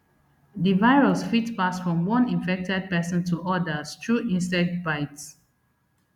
di virus fit pass from one infected pesin to odas through insect bites